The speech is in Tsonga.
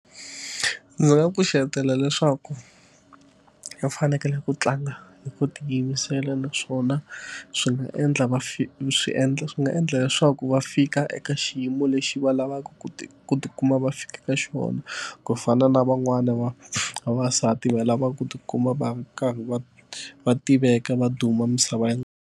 Ndzi nga pfuxetela leswaku va fanekele ku tlanga hi ku tiyimisela naswona swi nga endla va fee swi endla swi nga endla leswaku va fika eka xiyimo lexi va lavaka ku ti ku tikuma va fika xona ku fana na van'wani va vavasati va lava ku tikuma va ri karhi va va tiveka va duma misaveni.